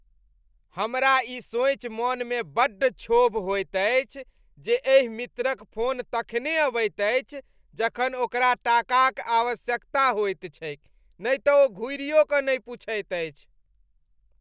हमरा ई सोचि मनमे बड्ड क्षोभ होइत अछि जे एहि मित्रक फोन तखने अबैत अछि जखन ओकरा टाकाक आवश्यकता होइत छैक नहि तऽ ओ घुरियो कऽ नहि पूछैत अछि।